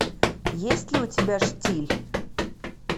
есть ли у тебя штиль